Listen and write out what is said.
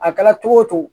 A kɛra cogo o cogo